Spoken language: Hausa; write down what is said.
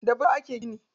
Da bulo ake gina gida.